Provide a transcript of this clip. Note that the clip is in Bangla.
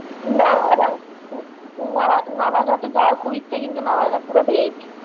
Naanzza, Naanzza তে যাবার খুব ইচ্ছা কিন্তু Naanzza পুরো veg ।